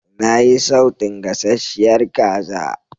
Na yi sautun gasasshiyar kaza.